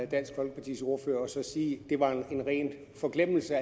dansk folkepartis ordførertale og sige at det var en ren forglemmelse